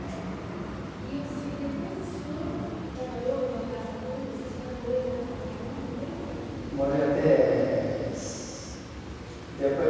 É. E o se, e depois o senhor que trabalhou lá em Araçatuba, vocês ficaram morando em Araçatuba muito tempo ainda? Morei até depois